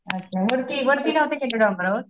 अच्छा वरती वरती नव्हते गेले डोंगरावर?